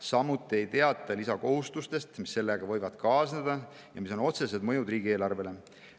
Samuti ei teata lisakohustustest, mis sellega võivad kaasneda ja millel on otsesed mõjud riigieelarvele.